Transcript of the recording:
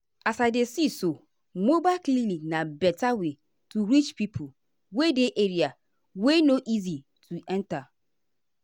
as i dey see so mobile clinic na better way to reach pipo wey dey area wey no easy to enta.